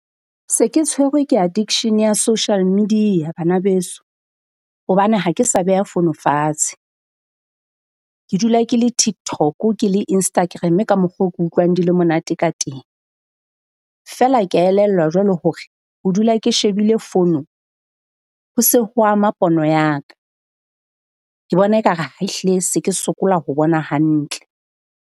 Se ke tshwerwe ke addiction ya social media bana beso, hobane ha ke sa beha fono fatshe. Ke dula ke le TikTok ke le Instagram-e ka mokgo ke utlwang di le monate ka teng. Feela kea elellwa jwale hore ho dula ke shebile fono ho se ho ama pono ya ka. Ke bona ekare ha ehlile se ke sokola ho bona hantle.